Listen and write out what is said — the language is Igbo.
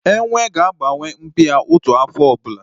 Ele ga-agbanwe mpi ya otu afọ ọbụla